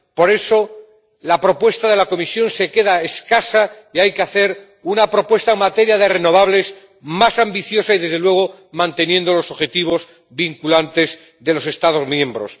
Por eso, la propuesta de la Comisión se queda escasa y hay que hacer una propuesta en materia de renovables más ambiciosa y, desde luego, manteniendo los objetivos vinculantes de los Estados miembros.